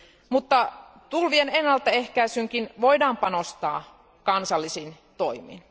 Mutta tulvien ennaltaehkäisyynkin voidaan panostaa kansallisin toimin.